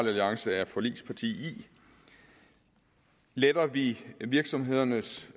alliance er forligsparti i letter vi virksomhedernes